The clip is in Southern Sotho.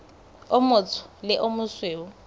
o motsho le o mosweu